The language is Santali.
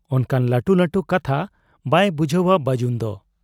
ᱚᱱᱠᱟᱱ ᱞᱟᱹᱴᱩ ᱞᱟᱹᱴᱩ ᱠᱟᱛᱷᱟ ᱵᱟᱭ ᱵᱩᱡᱷᱟᱹᱣᱟ ᱵᱟᱹᱡᱩᱱᱫᱚ ᱾